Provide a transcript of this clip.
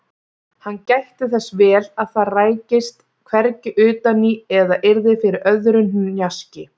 Hann gætti þess vel að það rækist hvergi utan í eða yrði fyrir öðru hnjaski.